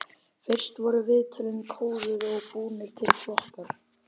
Fyrst voru viðtölin kóðuð og búnir til flokkar.